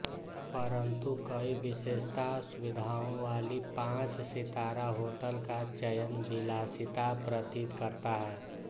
परन्तु कई विशेषता सुविधाओं वाली पाँच सितारा होटल का चयन विलासिता प्रतीत करता है